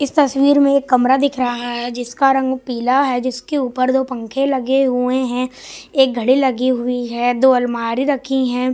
इस तस्वीर में एक कमरा दिख रहा है जिसका रंग पीला है जिसके ऊपर दो पंखे लगे हुए हैं एक घड़ी लगी हुई है दो अलमारी रखी हैं।